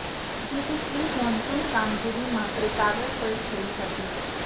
જેથી pre monsoon કામગીરી માત્ર કાગળ પર થઈ હતી